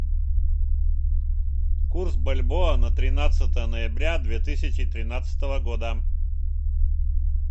курс бальбоа на тринадцатое ноября две тысячи тринадцатого года